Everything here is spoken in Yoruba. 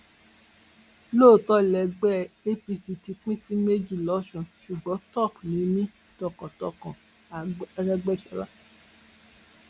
lóòótọ lẹgbẹ apc ti pín sí méjì lọsùn ṣùgbọn top ni mí tọkàntọkàn arẹgbèsọla